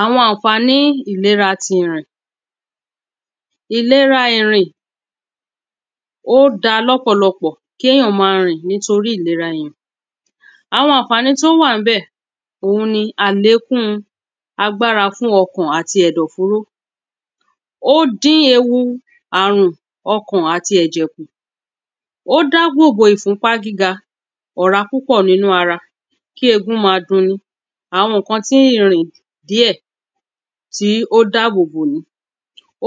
àwọn aǹfání ìlera ti irìn ìlera irìn ó da lọ́pọ̀lọpọ̀ kí èyàn ma rìn nítorí ìlera irìn àwọn aǹfání tó wà ḿbẹ̀ òun ni àlékún agbára fún ọkàn àti ẹ̀dọ̀ fóró ó dín ewu àrùn ọkàn àti ẹ̀jẹ̀ kù ó dàbòbò ìfúnpá gíga ọ̀rá púpọ̀ nínú ara kí egun ma dun ni àwọn ǹkan tí ìrìn díẹ̀ tí ó dábòbò nìí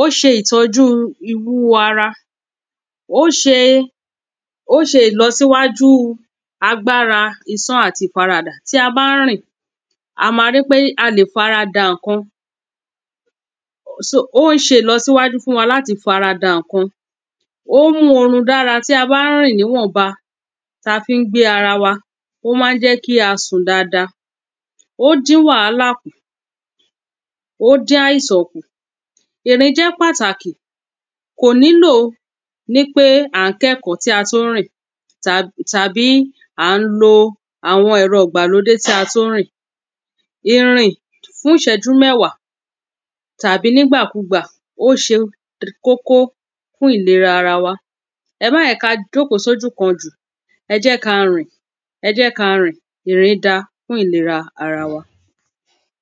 ó ṣe ìtọ́jú ìwú ara ó ṣe ó ṣe ìlọsíwájú agbára isán àti ìfaradà tí a bá ń rìn a ma rí pé a lè farada ǹkan ó ṣe ìlọsíwájú fún wa láti farada ǹkan ó ń mú orun dára tí a ba ń rìn níwọ̀nba ta n fí gbé ara wa ó má ń jẹ́ kí a sùn dada ó dín wàálà kù ó dín àìsàn kù ìrìn jẹ́ pàtàkì kò nílò nípé à ń kẹ́kọ̀ọ́ tí a tún rìn tàbí à ń lo àwọn ẹ̀rọ ìgbàlódé tí a tún rìn ìrìn fún ìṣẹ́jú mẹ́wàá tàbí nígbàkugbà ó ṣe kókó fún ìlera ara wa ẹ má jẹ́ ka jòkó sójú kan jù ẹ jẹ́ ka rìn ẹ jẹ́ ka rìn ìrìn da fún ìlera ara wa